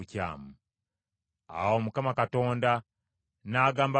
Awo Mukama Katonda n’agamba Musa nti,